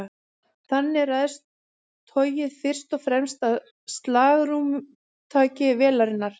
Þannig ræðst togið fyrst og fremst af slagrúmtaki vélarinnar.